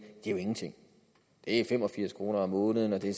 er ingenting det er fem og firs kroner måneden det